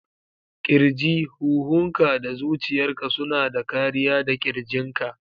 Kirji: Huhunka da zuciyarka suna da kariya da ƙirjinka